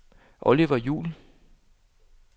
Oliver Juul